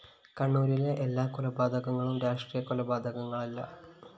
കണ്ണൂരിലെ എല്ലാ കൊലപാതകങ്ങളും രാഷ്ട്രീയ കൊലപാതകങ്ങളല്ല